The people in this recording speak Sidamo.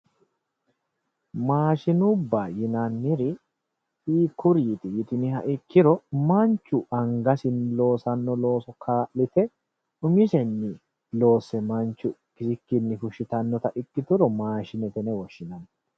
Maashinubba yinanniri hiikkuriiti yitiniha ikkiro manchu angasinni loosanno looso kaa'lite umisenni loosse manchu kisikkinni fushshitannota ikkituro maashinete yine woshshinanni